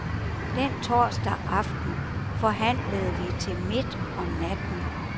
Den torsdag aften forhandlede vi til midt om natten.